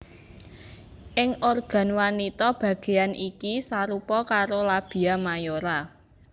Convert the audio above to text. Ing organ wanita bagéan iki sarupa karo labia mayora